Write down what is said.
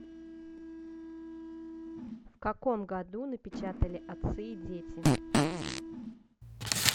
в каком году напечатали отцы и дети